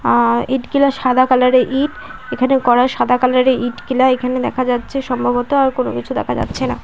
আ-আ-র ইঁটগুলা সাদা কালার -এর ইঁট এখানে করা সাদা কালার -এর ইঁটগুলা এখানে দেখা যাচ্ছে সম্ভবত আর কোনো কিছু দেখা যাচ্ছে না।